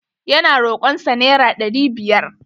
Ya na rokon sa naira ɗari biyar.